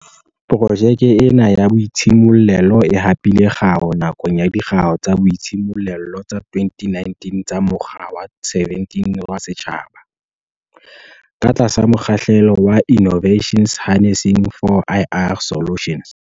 Projeke ena ya boitshimollelo e hapile kgau nakong ya Dikgau tsa Boitshimollelo tsa 2019 tsa Mokga wa 17 wa Setjhaba, ka tlasa mokgahlelo wa Innova tions Harnessing 4IR Solutions.